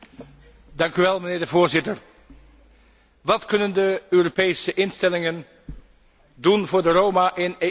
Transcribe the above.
Voorzitter, wat kunnen de Europese instellingen doen voor de Roma in EU lidstaten?